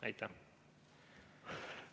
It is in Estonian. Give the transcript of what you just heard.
Aitäh!